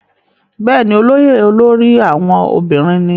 bẹ́ẹ̀ni, olóyè olórí àwọn obìnrin ní